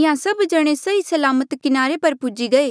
इंहां सभ जण सही सलामत किनारे पर पूजी गये